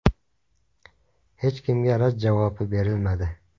Hech kimga rad javobi berilmadi.